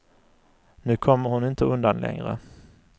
Nu kommer hon inte undan längre.